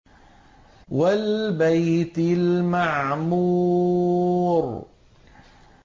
وَالْبَيْتِ الْمَعْمُورِ